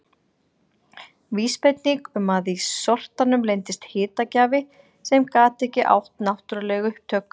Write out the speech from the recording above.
Vísbending um að í sortanum leyndist hitagjafi sem gat ekki átt náttúruleg upptök.